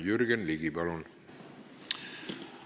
Jürgen Ligi, palun!